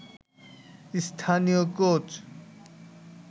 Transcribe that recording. স্থানীয় কোচ